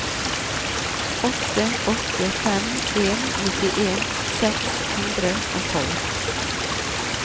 åtte åtte fem en nittien seks hundre og tolv